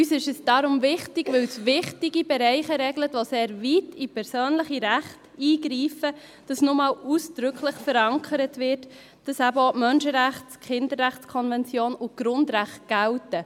Uns ist es darum wichtig – weil es wichtige Bereiche regelt, die sehr weit in persönliche Rechte hineingreifen –, dass nochmals ausdrücklich verankert wird, dass eben auch die Menschenrechts-, die Kinderrechtskonvention und die Grundrechte gelten.